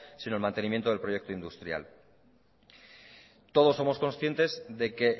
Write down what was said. sino el mantenimiento del proyecto industrial todos somos conscientes de que